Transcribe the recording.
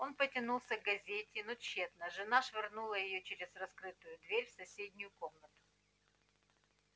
он потянулся к газете но тщетно жена швырнула её через раскрытую дверь в соседнюю комнату